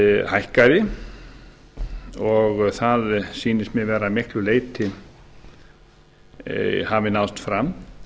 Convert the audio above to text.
hækkaði og það sýnist mér hafa að miklu leyti náðst fram